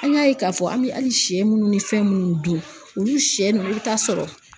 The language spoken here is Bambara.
An y'a ye k'a fɔ an bɛ hali sɛ munnu ni fɛn munnu dun olu sɛ nunnu, i bi taa sɔrɔ